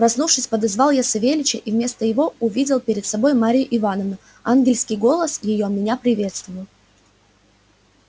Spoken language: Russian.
проснувшись подозвал я савельича и вместо его увидел перед собою марью ивановну ангельский голос её меня приветствовал